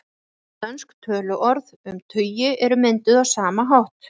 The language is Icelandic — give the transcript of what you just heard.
Nokkur dönsk töluorð um tugi eru mynduð á sama hátt.